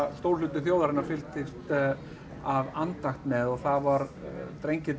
stór hluti þjóðarinnar fylgdist af andakt með og það voru